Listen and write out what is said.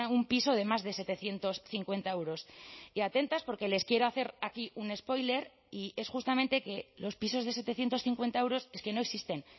un piso de más de setecientos cincuenta euros y atentas porque les quiero hacer aquí un spoiler y es justamente que los pisos de setecientos cincuenta euros es que no existen